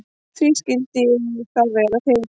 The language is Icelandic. Því skyldi ég þá vera til?